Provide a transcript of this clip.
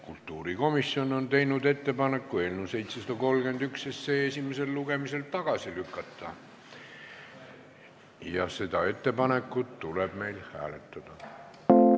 Kultuurikomisjon on teinud ettepaneku eelnõu 731 esimesel lugemisel tagasi lükata ja seda ettepanekut tuleb meil hääletada.